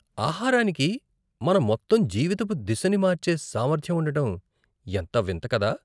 ఆహారానికి మన మొత్తం జీవితపు దిశని మార్చే సామర్థ్యం ఉండటం ఎంత వింత కదా.